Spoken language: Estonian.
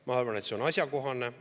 Ma arvan, et see on asjakohane.